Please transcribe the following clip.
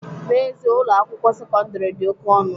N'ezie, Ụlọ akwụkwọ sekọndrị dị oke ọnụ